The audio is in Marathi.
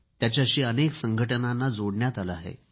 त्यााच्यालशी अनेक संघटनांना जोडण्यात आले आहे